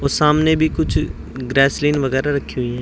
और सामने भी कुछ ग्लिसरीन वगैरा रखी हुई हैं।